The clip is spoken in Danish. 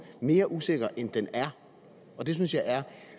mere usikker end den er og det synes jeg er